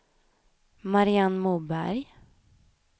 Mariann Moberg